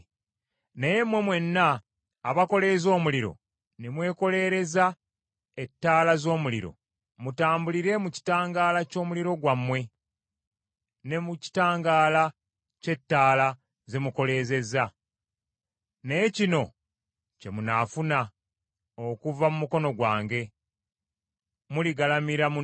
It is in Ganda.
Naye mmwe mwenna abakoleeza omuliro, ne mwekoleereza ettaala z’omuliro, mutambulire mu kitangaala ky’omuliro gwammwe, ne mu kitangaala kye ttaala ze mukoleezeza. Naye kino kye munaafuna okuva mu mukono gwange; muligalamira mu nnaku.